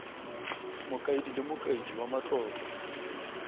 mokaedi le mokaedi wa matlotlo